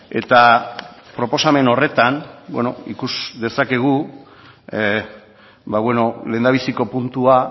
eta proposamen horretan ikusi dezakegu lehendabiziko puntua